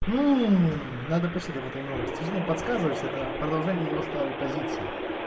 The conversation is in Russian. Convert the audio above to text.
не не надо почитать об этой новости что-то мне подсказывает что это продолжение его старой позиции